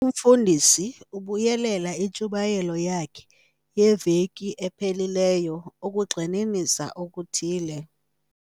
Umfundisi ubuyelela intshumayelo yakhe yeveki ephelileyo ukugxininisa okuthile.